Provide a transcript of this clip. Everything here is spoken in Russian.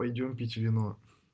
пойдём пить вино